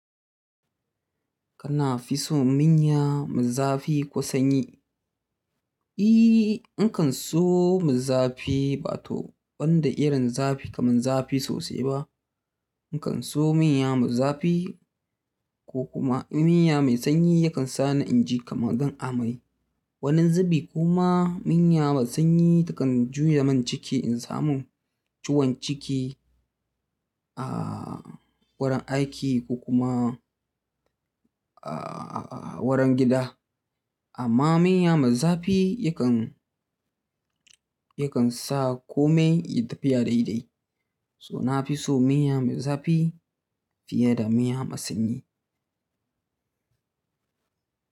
Kana fi so miya mezafi ko sanyi? I, in kan so mezafi ba to banda irin zafi kaman zafi sosai ba. In kan so miya maizafi ko kuma miya mai sanyi yakan sa ni inji kamar zan amai. Wani zubi kuma miya mai sanyi takan juye min ciki in samu ciwon ciki, a wurin aiki ko kuma a wurin gida. Amma miya maizafi yakan, yakan sa kome ya tafiya daidai. So na fi so miya mai zafi fiye da miya mai sanyi.